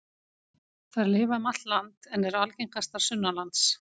Þær lifa um allt land en eru algengastar sunnanlands.